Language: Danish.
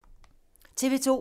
TV 2